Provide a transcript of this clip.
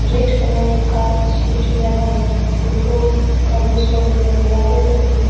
red colour का scooty लगा हुआ है टोटो का भी शोरूम है दिवाले पर फूल --